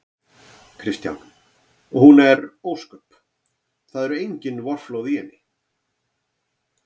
Kristján: Og hún er ósköp. það eru engin vorflóð í henni?